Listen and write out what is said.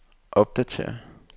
opdatér